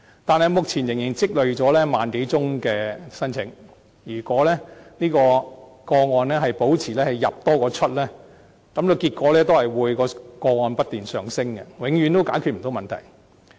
但是，目前仍然積累了萬多宗聲請個案，如果這類個案保持"入多於出"，結果會是個案不斷上升，永遠解決不了問題。